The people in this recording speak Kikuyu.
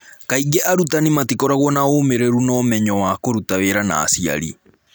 Kaingĩ arutani matikoragwo na ũmĩrĩru na ũmenyo wa kũruta wĩra na aciari.